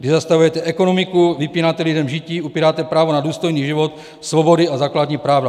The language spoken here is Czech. Vy zastavujete ekonomiku, vypínáte lidem žití, upíráte právo na důstojný život, svobody a základní práva.